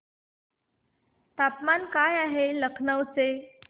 तापमान काय आहे लखनौ चे